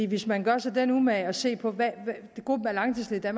hvis man gør sig den umage at se på hvem gruppen af langtidsledige